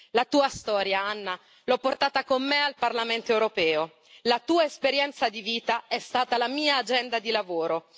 La tua storia, Anna, l'ho portata con me al Parlamento europeo, la tua esperienza di vita è stata la mia agenda di lavoro.